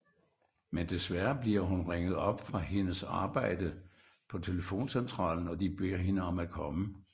Men desværre bliver hun ringet op fra hende arbejde telefoncentralen og de beder hende om at komme